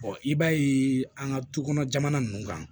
i b'a ye an ka du kɔnɔ jamana nunnu kan